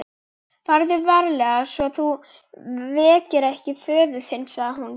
Farðu varlega svo þú vekir ekki föður þinn, sagði hún.